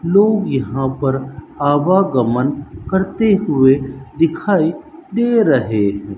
लोग यहां पर आवागमन करते हुए दिखाई दे रहे--